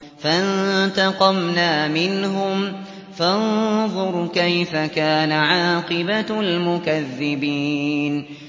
فَانتَقَمْنَا مِنْهُمْ ۖ فَانظُرْ كَيْفَ كَانَ عَاقِبَةُ الْمُكَذِّبِينَ